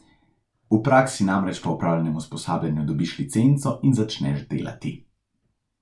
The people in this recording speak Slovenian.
V praksi namreč po opravljenem usposabljanju dobiš licenco in začneš delati.